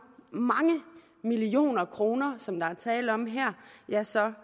mange millioner kroner som der her er tale om ja så